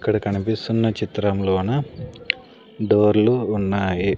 ఇక్కడ కనిపిస్తున్న చిత్రంలోన డోర్లు ఉన్నాయి.